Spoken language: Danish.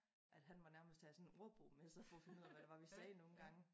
At han måtte nærmest have sådan en ordbog med sig for at finde ud af hvad det var vi sagde nogen gange